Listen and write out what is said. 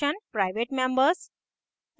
private members